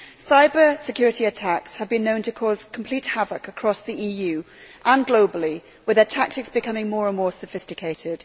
Cyber security attacks have been known to cause complete havoc across the EU and globally, with their tactics becoming more and more sophisticated.